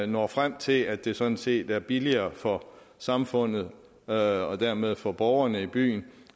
når frem til at det sådan set er billigere for samfundet og dermed for borgerne i byen